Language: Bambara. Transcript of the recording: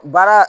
Baara